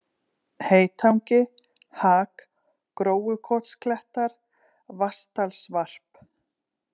Heytangi, Hak, Gróukotsklettar, Vatnsdalsvarp